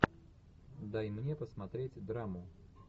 дай мне посмотреть драму